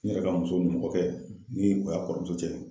Ne yɛrɛ ka muso ni kɔɔkɛ ni a kɔrɔmuso cɛ.